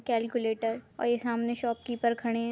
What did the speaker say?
Calculator और ये सामने शॉपकीपर खडे है।